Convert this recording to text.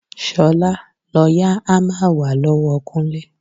Ṣolá, lọ yá hámà wá lọ́wọ́ Kúnlé.